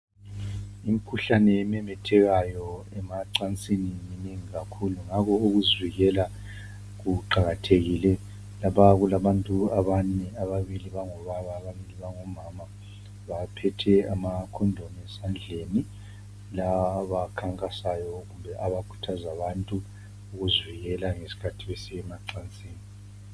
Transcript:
imikhuhlane ememethekayo emacansini minengi kakhulu ngakho ukuzivikela kuqakathekile lapha kulanbantu abane ababili bangobaba ababili bango mama baphethe ama condom esandleni laba abakhankasayo kumbe abakhuthaza abantu ukuzivikela ngesikhathi besiya emacansini